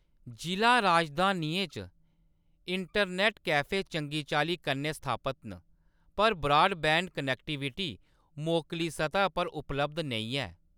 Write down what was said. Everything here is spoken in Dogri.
जिʼला राजधानियें च इंटरनेट कैफ़े चंगी चाल्ली कन्नै स्थापत न, पर ब्राडबैंड कनेक्टिविटी मोकली सतह पर उपलब्ध नेईं ऐ।